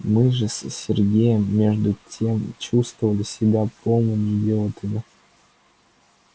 мы же с сергеем между тем чувствовали себя полными идиотами